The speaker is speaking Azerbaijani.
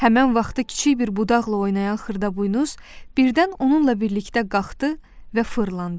Həmin vaxtı kiçik bir budaqla oynayan Xırdaboynuz birdən onunla birlikdə qalxdı və fırlandı.